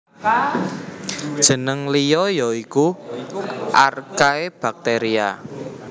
Jeneng liya ya iku Archaebacteria